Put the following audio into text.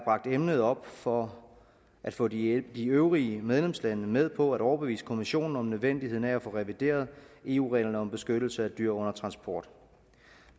emnet op for at få de øvrige medlemslande med på at overbevise europa kommissionen om nødvendigheden af at få revideret eu reglerne om beskyttelse af dyr under transport